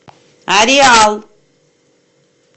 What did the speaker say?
ареал